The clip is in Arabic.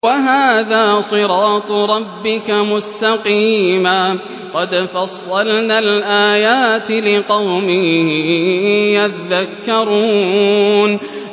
وَهَٰذَا صِرَاطُ رَبِّكَ مُسْتَقِيمًا ۗ قَدْ فَصَّلْنَا الْآيَاتِ لِقَوْمٍ يَذَّكَّرُونَ